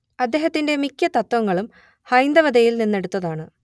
അദ്ദേഹത്തിന്റെ മിക്ക തത്ത്വങ്ങളും ഹൈന്ദവതയിൽനിന്നെടുത്തയാണ്